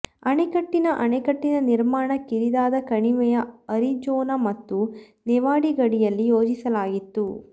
ಅಣೆಕಟ್ಟಿನ ಅಣೆಕಟ್ಟಿನ ನಿರ್ಮಾಣ ಕಿರಿದಾದ ಕಣಿವೆಯ ಅರಿಜೋನಾ ಮತ್ತು ನೆವಾಡ ಗಡಿಯಲ್ಲಿ ಯೋಜಿಸಲಾಗಿತ್ತು